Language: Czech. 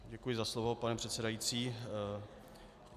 Děkuji za slovo, pane předsedající.